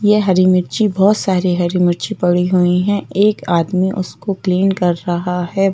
ये हरी मिर्ची बहुत सारी हरी मिर्ची पड़ी हुई हैं एक आदमी उसको क्लीन कर रहा है।